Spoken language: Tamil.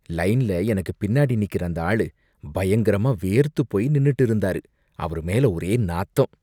லைன்ல எனக்கு பின்னாடி நிக்கற அந்த ஆளு பயங்கரமா வேர்த்து போய் நின்னுட்டு இருந்தாரு, அவரு மேல ஒரே நாத்தம்.